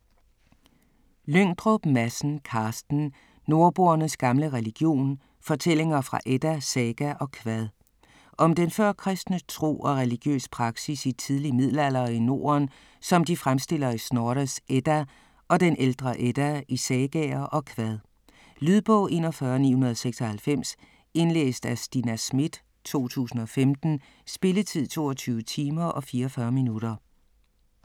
Lyngdrup Madsen, Carsten: Nordboernes gamle religion: fortællinger fra edda, saga og kvad Om den førkristne tro og religiøs praksis i tidlig middelalder i Norden, som de fremstilles i Snorres Edda og den ældre Edda, i sagaer og kvad. Lydbog 41996 Indlæst af Stina Schmidt, 2015. Spilletid: 22 timer, 44 minutter.